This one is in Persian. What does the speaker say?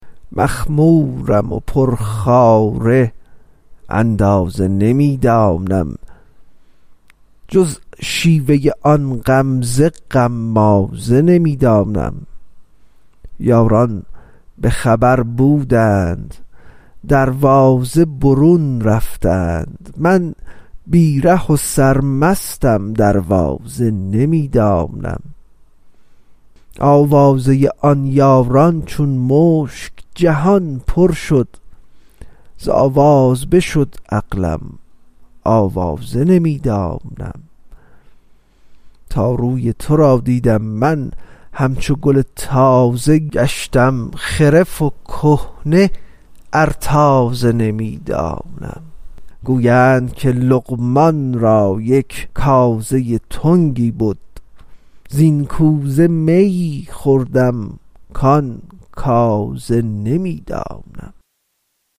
مخمورم پرخواره اندازه نمی دانم جز شیوه آن غمزه غمازه نمی دانم یاران به خبر بودند دروازه برون رفتند من بی ره و سرمستم دروازه نمی دانم آوازه آن یاران چون مشک جهان پر شد ز آواز بشد عقلم آوازه نمی دانم تا روی تو را دیدم من همچو گل تازه گشتم خرف و کهنه ار تازه نمی دانم گویند که لقمان را یک کازه تنگی بد زین کوزه میی خوردم کان کازه نمی دانم